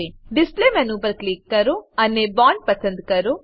display menu પર click કરો અને બોન્ડ પસંદ કરો